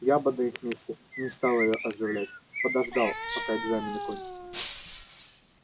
я бы на их месте не стал её оживлять подождал пока экзамены кончатся